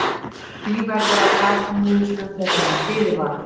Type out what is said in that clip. Því verður að taka niðurstöðum þeirra með fyrirvara.